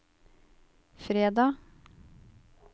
fredag